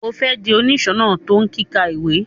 O fẹ di oniṣọnà to kika ìwé?